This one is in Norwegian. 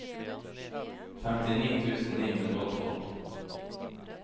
femtini tusen ni hundre og tolv